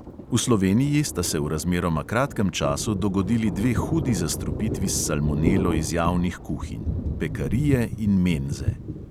V sloveniji sta se v razmeroma kratkem času dogodili dve hudi zastrupitvi s salmonelo iz javnih kuhinj: pekarije in menze.